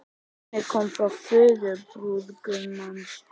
Bannið kom frá föður brúðgumans